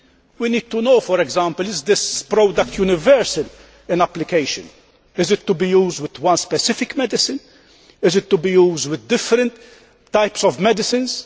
We need to know, for example, is this product universal in application, is it to be used with one specific medicine, is it to be used with different types of medicines?